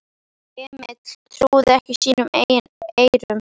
Emil trúði ekki sínum eigin eyrum.